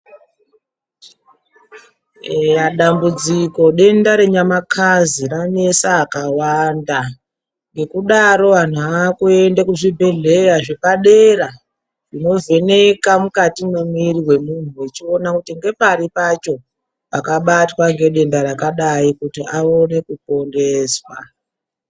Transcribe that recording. Dambudziko, denda renyamakazi ranetsa akawanda, ngekudaro vantu vave kuenda kuzvibhedhlera zvepadera, zvinovheneka mukati memiiri memuntu zvichiona kuti ndepari pacho pakabatwa nedenda rakadayi kuti aone kuponeswa.